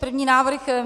První návrh.